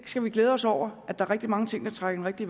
skal glæde os over at der er rigtig mange ting der trækker i